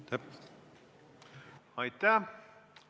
Aitäh!